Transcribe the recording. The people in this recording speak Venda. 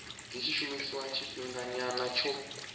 dzi tshi shumiswa tshifhingani tsho